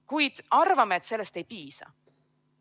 Kuid arvame, et sellest ei piisa.